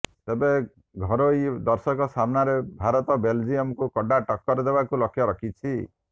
ତେବେ ଘରୋଇ ଦର୍ଶକଙ୍କ ସାମ୍ନାରେ ଭାରତ ବେଲଜିୟମକୁ କଡା ଟକ୍କର ଦେବାକୁ ଲକ୍ଷ୍ୟ ରଖିଛି